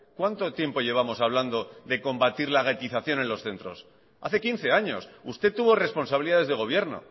cuánto tiempo llevamos hablando de combatir la ratización en los centros hace quince años usted tuvo responsabilidades de gobierno